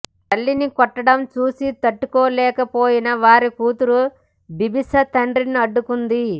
తల్లిని కొట్టడం చూసి తట్టుకోలేకపోయిన వారి కూతురు బిబాషా తండ్రిని అడ్డుకుంది